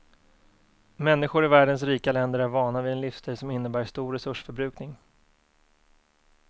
Människor i världens rika länder är vana vid en livsstil som innebär stor resursförbrukning.